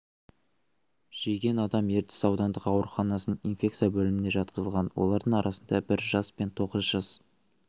жеген адам ертіс аудандық ауруханасының инфекция бөліміне жатқызылған олардың арасында бір жас пен тоғыз жас